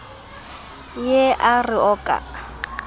ye a re o ka